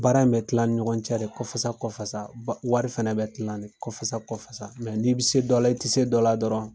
Baara in bɛ kila ani ɲɔgɔn cɛ de kɔfasa kɔfasa, wari fɛnɛ bɛ kila kɔfasa kɔfasa, ni'i bɛ se dɔ la i tɛ se dɔ la dɔrɔn